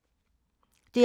DR P2